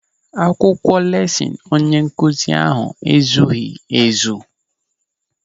Akwụkwọ lesinu onye nkụzi ezughị ezu.